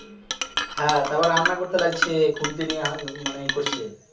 হ্যাঁ তারপর রান্না করতে লাগছে খুন্তি নিয়ে আহ উম মানে করছে